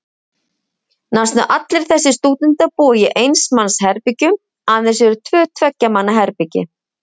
Næstum allir þessir stúdentar búa í eins manns herbergjum, aðeins eru tvö tveggja manna herbergi.